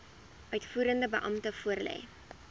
uitvoerende beampte voorlê